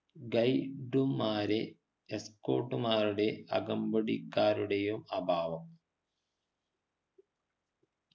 guide മ്മാരെ escort മാരുടെ കമ്പടിക്കാരുടെയോ അഭാവം